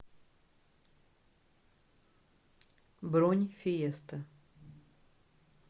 бронь фиеста